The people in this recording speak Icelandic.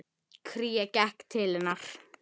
Sinnir sínu starfi.